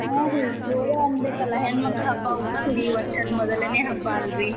ಹಾ ರೀ ಜೋರ್ರ್ ಅನ್ಬೇಕಲ್ಲಾ ಹೆಣ್ಮಕ್ಳ್ ಹಬ್ಬಾ ಉಗಾದಿ ವರ್ಷದ್ ಮೊದ್ಲೇನೇ ಹಬ್ಬಾ ಅಲ್ಲ್ರೀ.